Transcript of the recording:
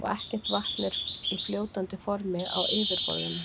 Og ekkert vatn er í fljótandi formi á yfirborðinu.